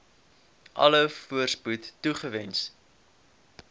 alle voorspoed toewens